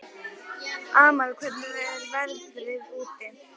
Amal, hvernig er veðrið úti?